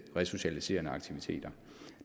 resocialiserende aktiviteter